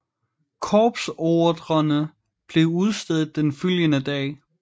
Korpsordrerne blev udstedt den følgende dag